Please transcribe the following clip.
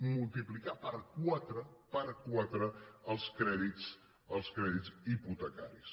multiplicar per quatre per quatre els crèdits hipotecaris